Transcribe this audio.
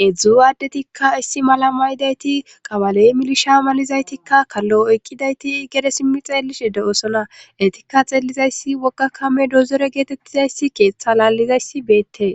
heedzdzu aaddetikka issi mala maydayti qawaley milisha malizaytikka kallo oykkidayti gede simmi xeellishe de'osonaetikka xeellizayssi wogakame dozere geetettizayssi keeththa laallizayssi beette